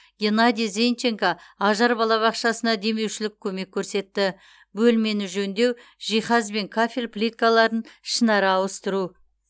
геннадий зенченко ажар балабақшасына демеушілік көмек көрсетті бөлмені жөндеу жиһаз бен кафель плиткаларын ішінара ауыстыру